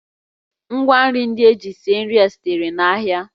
Ngwa nri ndị e ji sie nri sitere n'ahịa